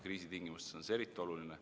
Kriisi tingimustes on see eriti oluline.